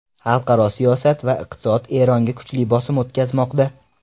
Xalqaro siyosat va iqtisod Eronga kuchli bosim o‘tkazmoqda.